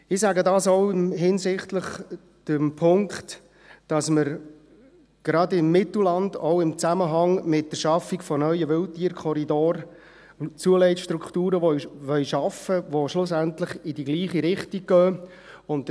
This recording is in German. Ich sage dies auch hinsichtlich des Punkts, dass wir gerade im Mittelland, auch im Zusammenhang mit der Schaffung neuer Wildtierkorridore, Zuleitstrukturen schaffen wollen, die schlussendlich in dieselbe Richtung gehen.